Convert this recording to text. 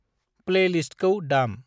प्लैलिस्तखौ दाम।